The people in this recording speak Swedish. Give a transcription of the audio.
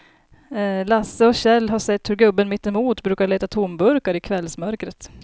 Lasse och Kjell har sett hur gubben mittemot brukar leta tomburkar i kvällsmörkret.